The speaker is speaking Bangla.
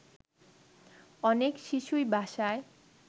অনেক শিশুই বাসায়